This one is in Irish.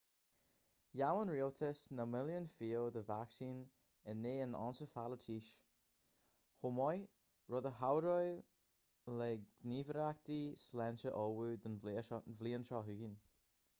gheall an rialtas na milliúin fial de vacsaín in aghaidh an einceifealaítis chomh maith rud a chabhróidh le gníomhaireachtaí sláinte ullmhú don bhliain seo chugainn